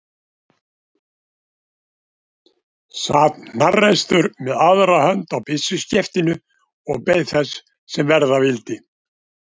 Sat hnarreistur með aðra hönd á byssuskeftinu og beið þess sem verða vildi.